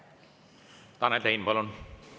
Tanel Tein, palun!